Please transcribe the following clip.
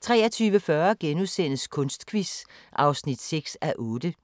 23:40: Kunstquiz (6:8)*